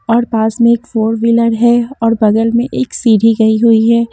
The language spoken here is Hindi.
और पास में एक फोर व्हीलर है और बगल में एक सीढ़ी गई हुई है।